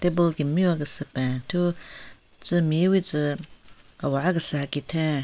Table kem-miwa kese pen thu tsü mewitsü awaha kesehen kitheng.